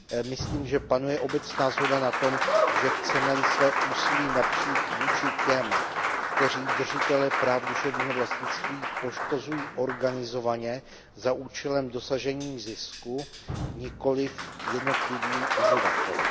Myslím, že panuje obecná shoda na tom, že chceme své úsilí napřít vůči těm, kteří držitele práv duševního vlastnictví poškozují organizovaně za účelem dosažení zisku, nikoliv vůči jednotlivým uživatelům.